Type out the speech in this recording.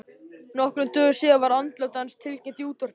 Nokkrum dögum síðar var andlát hans tilkynnt í útvarpinu.